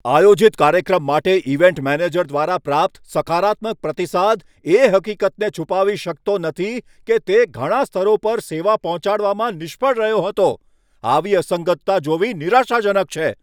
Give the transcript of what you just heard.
આયોજિત કાર્યક્રમ માટે ઇવેન્ટ મેનેજર દ્વારા પ્રાપ્ત સકારાત્મક પ્રતિસાદ એ હકીકતને છુપાવી શકતો નથી કે તે ઘણા સ્તરો પર સેવા પહોંચાડવામાં નિષ્ફળ રહ્યો હતો. આવી અસંગતતા જોવી નિરાશાજનક છે.